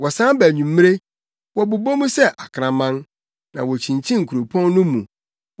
Wɔsan ba anwummere, wɔbobɔ mu sɛ akraman, na wokyinkyin kuropɔn no mu.